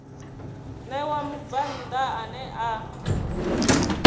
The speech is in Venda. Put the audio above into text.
ṋewa mubvann ḓa ane a